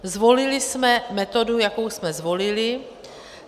Zvolili jsme metodu, jakou jsme zvolili.